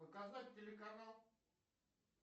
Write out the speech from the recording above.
показать телеканал